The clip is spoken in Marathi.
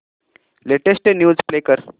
लेटेस्ट न्यूज प्ले कर